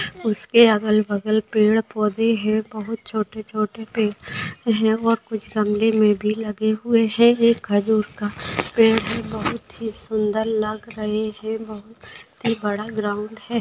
उसके अगल बगल पेड़ पौधे है बहुत छोटे छोटे है और कुछ गमले मे भी लगे हुवे है एक खजूर का पेड़ भी बहुत ही सुंदर लग रहे है बहुत ही बड़ा ग्राउंड है।